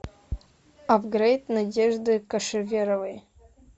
апгрейд надежды кошеверовой